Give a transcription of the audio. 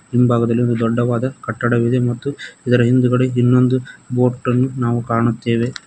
ಹಿಂಭಾಗದಲ್ಲಿ ಒಂದು ದೊಡ್ಡವಾದ ಕಟ್ಟಡವಿದೆ ಮತ್ತು ಇದರ ಹಿಂದುಗಡೆ ಇನ್ನೊಂದು ಬೋಟನ್ನು ನಾವು ಕಾಣುತ್ತೇವೆ.